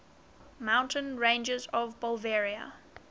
mountain ranges of bolivia